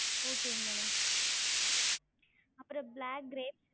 Okay ங்க madam அப்றம் black grapes